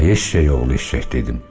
Ay eşşək oğlu eşşək dedim.